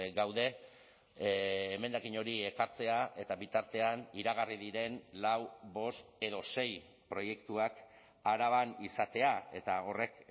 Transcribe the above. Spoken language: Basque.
gaude emendakin hori ekartzea eta bitartean iragarri diren lau bost edo sei proiektuak araban izatea eta horrek